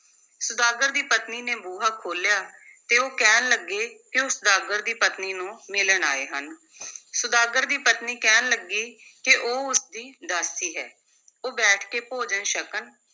ਸੁਦਾਗਰ ਦੀ ਪਤਨੀ ਨੇ ਬੂਹਾ ਖੋਲ੍ਹਿਆ ਤੇ ਉਹ ਕਹਿਣ ਲੱਗੇ ਕਿ ਉਹ ਸੁਦਾਗਰ ਦੀ ਪਤਨੀ ਨੂੰ ਮਿਲਣ ਆਏ ਹਨ ਸੁਦਾਗਰ ਦੀ ਪਤਨੀ ਕਹਿਣ ਲੱਗੀ ਕਿ ਉਹ ਉਸ ਦੀ ਦਾਸੀ ਹੈ, ਉਹ ਬੈਠ ਕੇ ਭੋਜਨ ਛਕਣ,